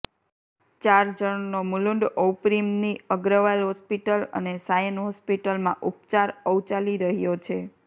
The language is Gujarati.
ચાર જણનો મુલુંડ ઔપિૃમની અગ્રવાલ હોસ્પિટલ અને સાયન હોસ્પિટલમાં ઉપચારઔચાલી રહ્યો છે